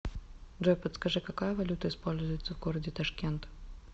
джой подскажи какая валюта используется в городе ташкент